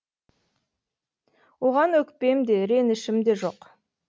оған өкпем де ренішім де жоқ